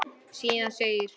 Síðan segir